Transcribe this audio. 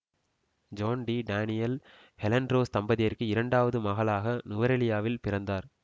zone D Daniel Helen Rose தம்பதியருக்கு இரண்டாவது மகளாக நுவரெலியாவில் பிறந்தார்